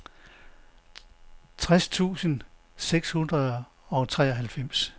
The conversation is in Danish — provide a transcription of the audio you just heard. tres tusind seks hundrede og treoghalvfems